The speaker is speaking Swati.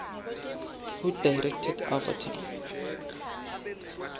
who directed avatar